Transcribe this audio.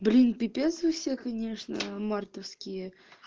блин пипец вы все конечно мартовские